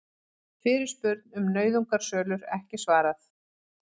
Fyrirspurn um nauðungarsölur ekki svarað